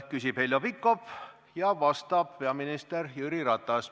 Küsib Heljo Pikhof ja vastab peaminister Jüri Ratas.